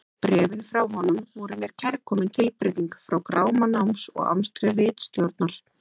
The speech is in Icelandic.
Bréfin frá honum voru mér kærkomin tilbreyting frá gráma náms og amstri ritstjórnar.